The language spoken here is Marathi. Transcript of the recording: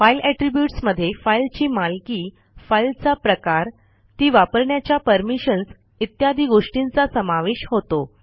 फाइल एट्रिब्यूट्स मधे फाईलची मालकी फाईलचा प्रकार ती वापरण्याच्या परमिशन्स इत्यादि गोष्टींचा समावेश होतो